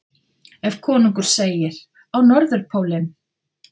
Ef konungur segir: Á Norðurpólinn!